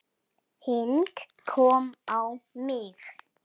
Hik kom á mig.